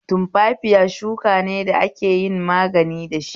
Tumfafiya shuka ne da ake yin magani dashi.